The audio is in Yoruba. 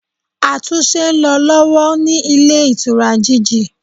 Àtúnse n lo lọ́wọ́ ní Ilé Ìtura GG